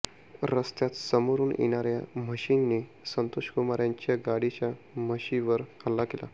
रस्त्यात समोरून येणाऱ्या म्हशींनी संतोष कुमार यांच्या गाडीच्या म्हशींवर हल्ला केला